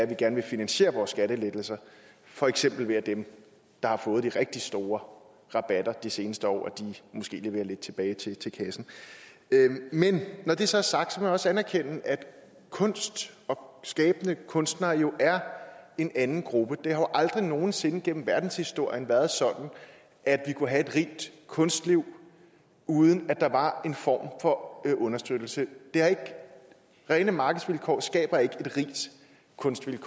vi gerne vil finansiere vore skattelettelser for eksempel ved at dem der har fået de rigtig store rabatter de seneste år måske leverer lidt tilbage til kassen men når det så er sagt må man også anerkende at kunst og skabende kunstnere jo er en anden gruppe det har jo aldrig nogen sinde gennem verdenshistorien været sådan at vi kunne have et rigt kunstliv uden at der var en form for understøttelse rene markedsvilkår skaber ikke et rigt kunstliv